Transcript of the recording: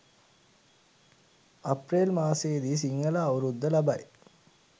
අප්‍රේල් මාසයේදි සිංහල අවුරුද්ද ලබයි.